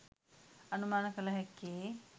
අනුමාන කළ හැක්කේ